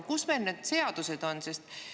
Kus meil need seadused on?